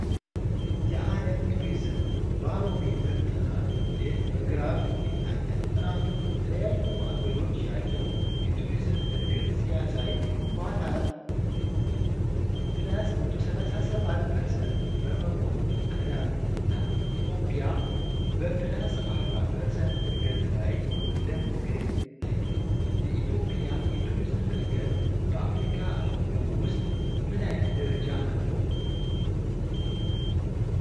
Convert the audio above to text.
የዓለም ቱሪዝም ባሮሜትር ጥናት ውጤት በግራፍ ይታያል። ጥናቱ በተለያዩ አገሮች ያለው የቱሪዝም ዕድገት ሲያሳይ፣ ኳታር +137% በመሆን ቀዳሚ ናት። ኢትዮጵያ በ+40% ዕድገት ላይ እንደምትገኝ ታይቷል። የኢትዮጵያ የቱሪዝም እድገት በአፍሪካ አህጉር ውስጥ ምን አይነት ደረጃ አለው?